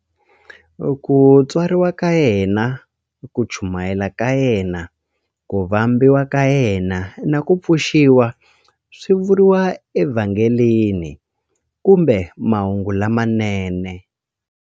Ku tswariwa ka yena, ku chumayela ka yena, ku vambiwa ka yena, na ku pfuxiwa swi vuriwa eVhangeli kumbe Mahungu lamanene.